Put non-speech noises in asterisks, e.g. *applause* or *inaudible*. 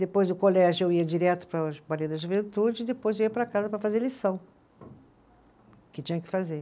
Depois do colégio, eu ia direto para *unintelligible* da Juventude e depois eu ia para casa para fazer lição, que tinha que fazer.